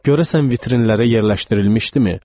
Görəsən vitrinlərə yerləşdirilmişdimi?